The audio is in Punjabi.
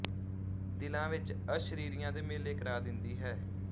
ਦਿਲਾਂ ਵਿੱਚ ਅਸ਼ਰੀਰੀਆਂ ਦੇ ਮੇਲੇ ਕਰਾ ਦਿੰਦੀ ਹੈ